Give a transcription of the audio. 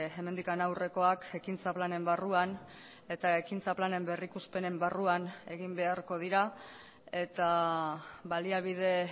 hemendik aurrekoak ekintza planen barruan eta ekintza planen berrikuspenen barruan egin beharko dira eta baliabide